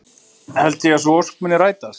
Held ég að sú ósk muni rætast?